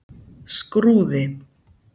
Skrúði